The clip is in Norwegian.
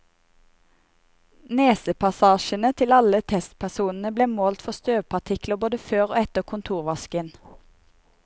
Nesepassasjene til alle testpersonene ble målt for støvpartikler både før og etter kontorvasken.